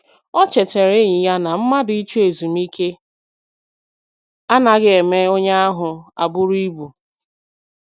O chetara enyi ya na mmadụ ịchọ ezumike anaghị eme onye ahụ abụrụ ibu.